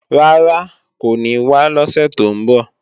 Rárá, kò ní wá lọ́sè tó ń bọ̀.